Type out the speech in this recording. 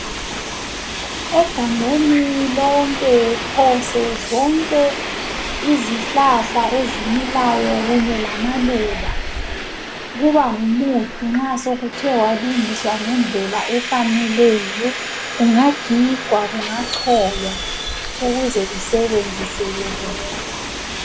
Egangeni lonke phose zonke izihlahla ezimilayo kanye lamaluba kuba ngumuthi nxa sokuthe kwalungiswa ngendlela efaneleyo kungagigwa kungacholwa ukuze kusebenziseke kuhle.